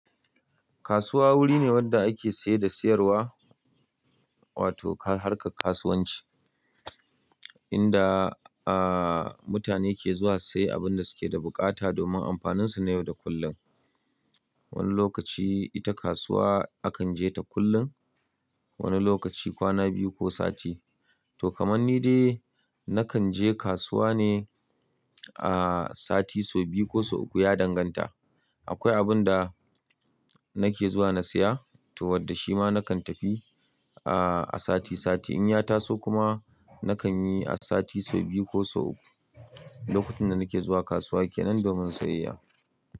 Kasuwa wuri ne wanda ake siye da siyarwa, wato harkar kasuwanci. Inda, ah, mutane ke zuwa siye abin da suke da buƙata domin ampaninsu na yau da kullum. Wani lokaci ita kasuwa akan je ta kullum, wani lokaci kwana biyu ko sati. To kaman ni dai, nakan je kasuwa ne, ah, sati sau biyu ko sau uku ya danganta. Akwai abun da nake zuwa na siya to wadda shi ma nakan tafi, ah, a sati sati. In ya taso kuma nakan yi a sati sau biyu ko sau uku. Lokutan da nike zuwa kasuwa kenan domin sayayya.